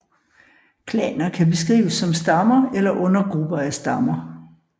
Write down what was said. Klaner kan beskrives som stammer eller undergrupper af stammer